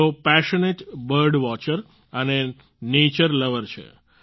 તેઓ passionate bird watcher અને nature lover છે